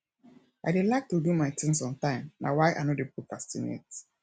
i dey like to do my things on time na why i no dey procrastinate